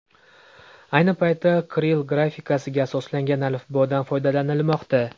Ayni paytda kirill grafikasiga asoslangan alifbodan foydalanilmoqda.